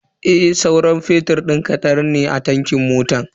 Sauran fetur din kadan ne a tankin motan.